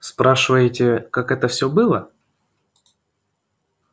спрашиваете как это всё было